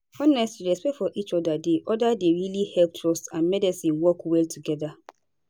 honestly respect for each other dey other dey really help trust and medicine work well together